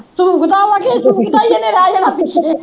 ਸ਼ੂਕਦਾ ਵਾ ਕਿ